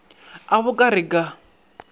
a bo ka re ka